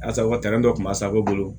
Asa tɛrɛn dɔ tun b'a sago bolo